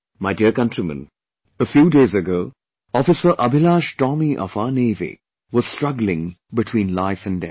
My dear countrymen, a few days ago, Officer AbhilashTomy of our Navy was struggling between life and death